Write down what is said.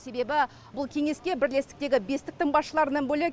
себебі бұл кеңеске бірлестіктегі бестіктің басшыларынан бөлек